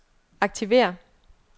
aktiver